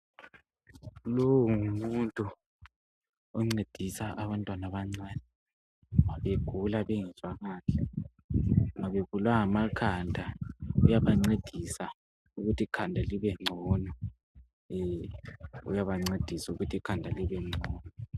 Lo! ngumuntu oncedisa abantwana abancane nxa begula bengezwa kahle. Nxa bebulawa ngamakhanda uyabancedisa ukuthi ikhanda libengcono.